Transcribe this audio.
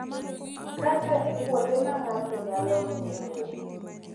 Kata e kuonde ma ng’ato nyalo ng’eyoe,